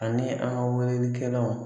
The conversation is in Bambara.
Ani an ka weleli kɛlaw.